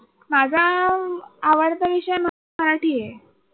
माझा अह आवडता विषय मराठी आहे.